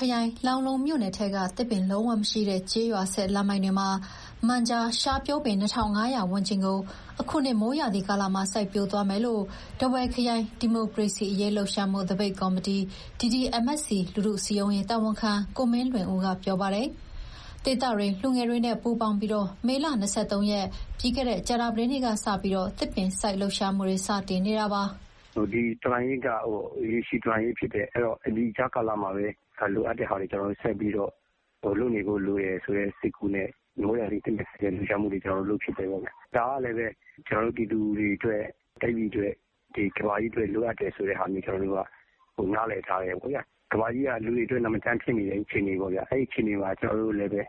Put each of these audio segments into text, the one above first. ခရိုင်၊ လောင်းလုံးမြို့နယ်ထဲက သစ်ပင်လုံးဝမရှိတဲ့ ကျေးရွာဆက်လမ်းပိုင်းတွေမှာ မန်ဂျာရှားပျိုးပင် ၂,၅၀၀ ဝန်းကျင်ကို အခုနှစ် မိုးရာသီကာလမှာ စိုက်ပျိုးသွားမယ်လို့ ထားဝယ်ခရိုင် ဒီမိုကရေစီအရေးလှုပ်ရှားမှု သပိတ်ကော်မတီ လူထုစည်းရုံးရေး တာဝန်ခံ ကိုမင်းလွင်ဦးက ပြောပါတယ်။ ဒေသတွင်း လူငယ်တွေနဲ့ ပူးပေါင်းပြီး မေလ ၂၃ ရက်၊ ပြီးခဲ့တဲ့ ကြာသပတေးနေ့ ကစပြီး သစ်ပင်စိုက်လှုပ်ရှားမှု စတင်နေတာပါ။ "ဒီတော်လှန်ရေးက ရေရှည်တော်လှန်ရေး ဖြစ်တယ်။ အဲတော့ ဒီကြားကာလမှာပဲ လိုအပ်တဲ့ဟာတွေကို ကျနော်တို့ဆက်ပြီးတော့ လုပ်နေဖို့လိုတယ်ဆိုတဲ့ စိတ်ကူးနဲ့ မိုးရာသီ သစ်ပင်စိုက်တဲ့ လှုပ်ရှားမှုလေး လုပ်ဖြစ်တယ်။ ဒါကလည်းပဲ ကျနော်တို့ ပြည်သူတွေအတွက်၊ တိုင်းပြည်အတွက်၊ ကမ္ဘာကြီးအတွက် လိုအပ်တယ်ဆိုတဲ့ဟာမျိုး နားလည်ထားတယ်ပေါ့ဗျာ။ ကမ္ဘာကြီးက လူတွေကြောင့် နာမကျန်းဖြစ်နေတဲ့ အခြေအနေပေါ့ဗျာ။ အဲဒီတော့ ကျနော်တို့လည်းပဲ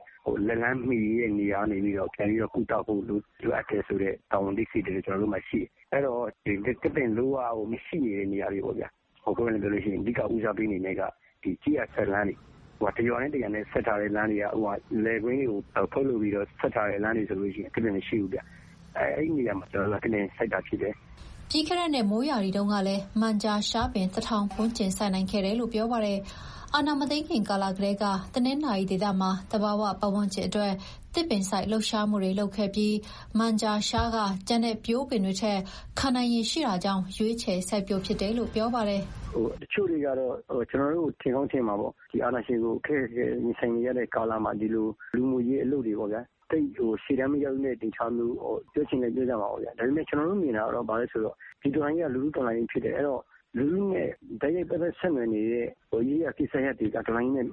လက်လှမ်းမီတဲ့ နေရာကနေပြီးတော့ ပြန်ပြီးတော့ကုသဖို့ လိုအပ်တယ်ဆိုတဲ့ တာဝန်အသိစိတ်ဓာတ် ကျနော်တို့မှာရှိတယ်။ အဲတော့ သစ်ပင်လုံးဝမရှိနေတဲ့ နေရာတွေပေါ့ဗျာ။ အဓိကဦးစားပေးက ကျေးရွာဆက်လမ်းတွေ။ တရွာနဲ့တရွာ ဆက်ထားတဲ့လမ်းတွေက လယ်ကွင်းတွေကို ဖောက်ပြီးတော့ ဆက်ထားတဲ့လမ်းတွေဆိုရင် သစ်ပင်မရှိဘူး။ အဲဒီနေရာမှာ ကျနော်တို့က သစ်ပင်စိုက်တာဖြစ်တယ်။" ပြီးခဲ့တဲ့နှစ် မိုးရာသီတုန်းကလည်း မန်ဂျာရှားအပင် ၁,၀၀၀ ဝန်းကျင် စိုက်နိုင်ခဲ့တယ်လို့ ပြောပါတယ်။ အာဏာမသိမ်းခင် ကာလကတည်းက တနင်္သာရီဒေသမှာ သဘာဝပတ်ဝန်းကျင်အတွက် သစ်ပင်စိုက်လှုပ်ရှားမှုတွေ လုပ်ခဲ့ပြီး မန်ဂျာရှားက ကျန်တဲ့ပျိုးပင်တွေထက် ခံနိုင်ရည်ရှိတာကြောင့် ရွေးချယ်စိုက်ပျိုးဖြစ်တယ်လို့ ပြောပါတယ်။ "တချို့တွေကတော့ ကျနော်တို့ကို ထင်ကောင်းထင်မှာပေါ့။ အာဏာရှင်ကို ခက်ခက်ခဲခဲ ရင်ဆိုင်နေရတဲ့ကာလမှာ ဒီလို လူမှုရေးအလုပ်တွေ သိပ်ရှေ့တန်းမရောက်တဲ့ အနေအထားမျိုး ပြောချင်လည်း ပြောကြမှာပေါ့။ ဒါပေမဲ့ ဒီတော်လှန်ရေးက လူထုတော်လှန်ရေး ဖြစ်တယ်။ အဲတော့ လူထုနဲ့ တိုက်ရိုက်ပတ်သက် ဆက်နွယ်နေတဲ့ ရေးရာကိစ္စရပ်တွေက တော်လှန်ရေးနဲ့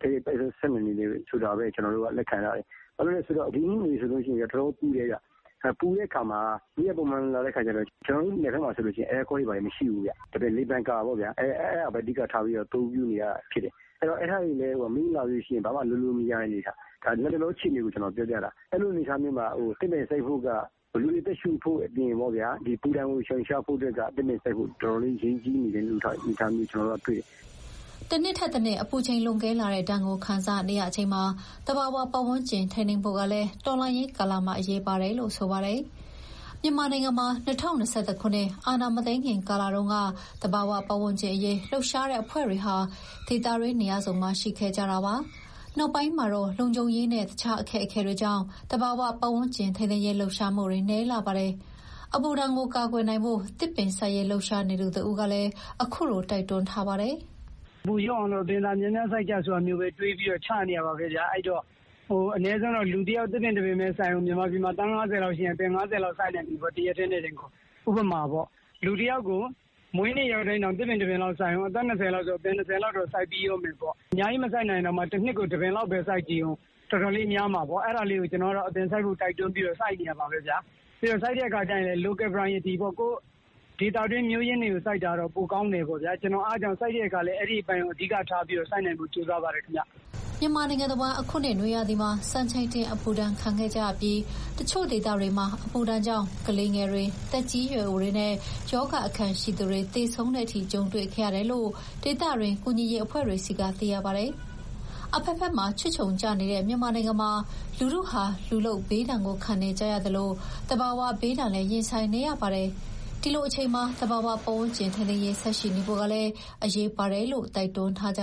တိုက်ရိုက်ပတ်သက် ဆက်နွယ်တယ်ဆိုတာပဲ ကျနော်တို့က လက်ခံထားတယ်။ ဘာဖြစ်လို့လဲဆိုတော့ ဒီနှစ်နွေဆိုရင် တော်တော်ပူတယ်ဗျ။ နယ်ဘက်မှာက အဲကွန်းတွေဘာတွေလည်း မရှိဘူးဗျ။ လေပန်ကာကိုပဲ အဓိကထား အသုံးပြုနေရတာ။ အဲဒါတွေကလည်း မီးမလာရင် ဘာမှလုပ်မရတဲ့ အနေအထား။ ဒါ လတ်တလောအခြေအနေကို ပြောပြတာ။ အဲလို အနေအထားမျိုးမှာ သစ်ပင်စိုက်ဖို့က လူတွေအတွက် အပူဒဏ်ရှောင်ရှားနိုင်ဖို့ တော်တော်လေး အရေးကြီးနေတဲ့ အနေအထားမျိုးတွေ့တယ်။" တနှစ်ထက်တနှစ် အပူချိန်လွန်ကဲလာတဲ့ဒဏ်ကို ခံစားနေရချိန်မှာ သဘာဝပတ်ဝန်းကျင် ထိန်းသိမ်းဖို့ကလည်း တော်လှန်ရေးကာလမှာ အရေးပါတယ်လို့ ဆိုပါတယ်။ မြန်မာနိုင်ငံမှာ ၂၀၂၁ ခုနှစ် အာဏာမသိမ်းခင် ကာလတုန်းက သဘာဝပတ်ဝန်းကျင်အရေး လှုပ်ရှားတဲ့အဖွဲ့တွေဟာ ဒေသတွင်းနေရာစုံမှာ ရှိခဲ့ကြပါတယ်။ နောက်ပိုင်းမှာတော့ လုံခြုံရေးနဲ့ တခြားအခက်အခဲတွေကြောင့် သဘာဝပတ်ဝန်းကျင် ထိန်းသိမ်းရေး လှုပ်ရှားမှုတွေ နည်းလာပါတယ်။ အပူဒဏ်ကို ကာကွယ်နိုင်ဖို့ သစ်ပင်စိုက်ရေး လှုပ်ရှားနေသူတဦးကလည်း အခုလို တိုက်တွန်းထားပါတယ်။ "အပူလျော့အောင်လို့ အပင်သာများများ စိုက်ကြဆိုပြီး လုပ်နေတာပါပဲ။ အနည်းဆုံးတော့ လူတယောက် သစ်ပင်တပင်ပဲ စိုက်ဦး။ မြန်မာပြည်မှာ သန်း ၅၀ လောက်ရှိရင် အပင် သန်း ၅၀ လောက်စိုက်နိုင်ပြီပေါ့၊ တရက်တည်းနဲ့တင်ကို ဥပမာပေါ့။ လူတယောက်ကို မွေးနေ့ရောက်တိုင်း သစ်ပင်တပင်လောက် စိုက်ဦး၊ အသက် ၂၀ လောက်ဆို အပင် ၂၀ စိုက်ပြီးတော့မယ်ပေါ့။ အများကြီး မစိုက်နိုင်ရင်တောင် တနှစ်ကို တပင်လောက် စိုက်ကြည့်ဦး၊ တော်တော်လေး များမှာပေါ့။ အဲတော့ အပင်စိုက်ဖို့ တိုက်တွန်းပြီးတော့ ကိုယ်တိုင်လည်း စိုက်နေတာပါပဲ။ ပြီးတော့ စိုက်တဲ့အခါမှာလည်း Local Priority ပေါ့။ ကိုယ့်ဒေသတွင်း မျိုးရင်းတွေကို စိုက်တာတော့ ပိုကောင်းတယ်။ အဲဒါကြောင့် ကျနော်စိုက်တဲ့အခါလည်း အဲဒီအပိုင်းကို အဓိကထားပြီး စိုက်နိုင်ဖို့ ကြိုးစားပါတယ်။" မြန်မာနိုင်ငံတဝန်း အခုနှစ်နွေရာသီမှာ စံချိန်တင်အပူဒဏ် ခံခဲ့ကြရပြီး တချို့ဒေသတွေမှာ အပူဒဏ်ကြောင့် ကလေးငယ်တွေ၊ အသက်ရွယ်ကြီးသူတွေနဲ့ ရောဂါအခံရှိသူတွေ သေဆုံးတဲ့အထိ ကြုံတွေ့ခဲ့ရတယ်လို့ ဒေသတွင်း ကူညီရေးအဖွဲ့တွေဆီက သိရပါတယ်။ အဘက်ဘက်မှာ ချွတ်ခြုံကျနေတဲ့ မြန်မာနိုင်ငံမှာ လူထုဟာ လူလုပ်ဘေးဒဏ်ကို ခံနေကြရသလို သဘာဝဘေးဒဏ်လည်း ရင်ဆိုင်နေရပါတယ်။ ဒီလိုအချိန်မှာ သဘာဝပတ်ဝန်းကျင် ထိန်းသိမ်းရေး ဆက်ရှိနေဖို့ကလည်း အရေးပါတယ်လို့ တိုက်တွန်းထားကြ